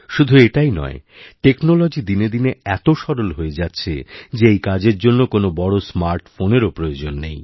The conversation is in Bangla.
শুধুএটাই নয় টেকনোলজি দিনে দিনে এত সরল হয়ে যাচ্ছে যে এই কাজের জন্য কোনও বড় স্মার্টফোনেরও প্রয়োজন নেই